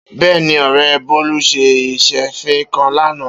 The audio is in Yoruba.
Beeni ore Bolu se isefin kan lana.